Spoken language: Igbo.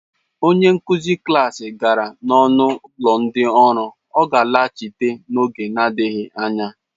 Onye nkuzi klas gara n'ọnụ ụlọ ndị ọrụ, ọ ga-alaghachi n'oge na-adịghị anya.